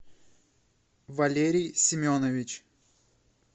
валерий семенович